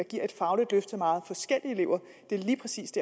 giver et fagligt løft til meget forskellige elever lige præcis